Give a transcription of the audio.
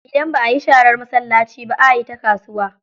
Idan ba a yi sharar masallaci ba, a yi ta kasuwa.